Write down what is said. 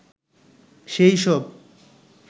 সে-ই সব